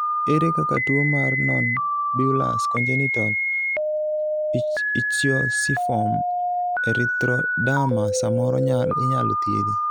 ere kaka tuo mar nonbullous congenital ichthyosiform erythroderma samoro inyalo thiedhi?